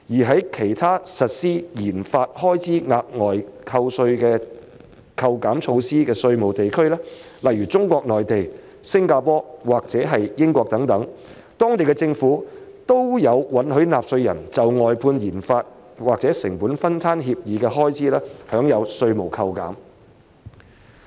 在其他實施研發開支額外扣稅措施的稅務地區，例如中國內地、新加坡和英國，當地政府都有允許納稅人就外判研發或成本分攤協議的開支，享有稅務扣減。